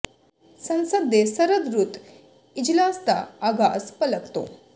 ਸੰਸਦ ਦੇ ਸਰਦ ਰੁੱਤ ਇਜਲਾਸ ਦਾ ਆਗਾਜ਼ ਭਲਕ ਤੋਂ